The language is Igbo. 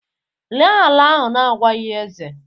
Ree ala ahu n'agwaghi eze